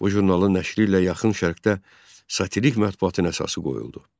Bu jurnalın nəşri ilə Yaxın Şərqdə satirik mətbuatın əsası qoyuldu.